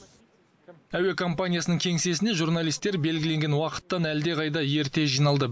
әуе компаниясының кеңсесіне журналистер белгіленген уақыттан әлдеқайда ерте жиналды